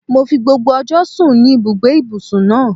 Mo fi gbogbo ọjọ́ sùn ní ibùgbé ìbùsùn náà.